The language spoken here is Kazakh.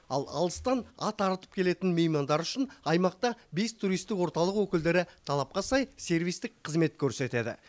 ал алыстан ат арылтып келетін меймандар үшін аймақта бес туристік орталық өкілдері талапқа сай сервистік қызмет көрсетеді